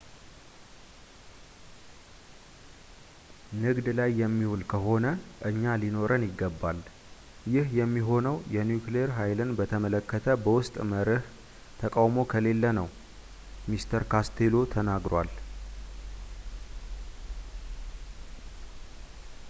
ንግድ ላይ የሚውል ከሆነ እኛ ሊኖረን ይገባል ይህ የሚሆነውም የኒውክሌር ሃይልን በተመለከተ በውስጥ መርሕ ተቃውሞ ከሌለ ነው ሲል mr costello ተናግሯል